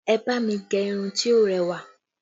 Ẹ bá mi gẹ irun to rẹwà